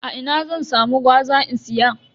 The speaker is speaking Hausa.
A ina zan samu gwaza in siya?